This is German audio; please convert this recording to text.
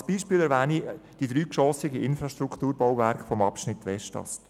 Als Beispiel erwähne ich die dreigeschossigen Infrastrukturbauwerke des Abschnitts Westast.